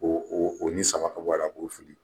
O o o ni saba n b'o fili.